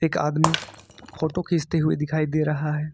एक आदमी फोटो खींचते हुए दिखाई दे रहा है।